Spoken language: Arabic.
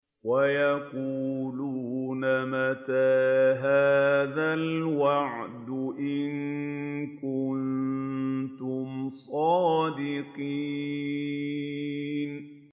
وَيَقُولُونَ مَتَىٰ هَٰذَا الْوَعْدُ إِن كُنتُمْ صَادِقِينَ